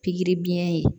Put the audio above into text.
Pikiri biɲɛ ye